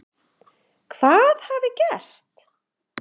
Hvað hafi gerst?